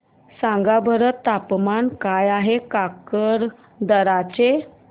सांगा बरं तापमान काय आहे काकरदरा चे